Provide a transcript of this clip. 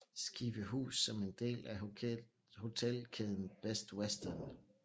Skivehus som del af hotelkæden Best Western